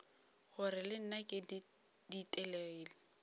gore le nna ke ditelegile